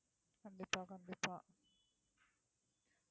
கண்டிப்பா கண்டிப்பா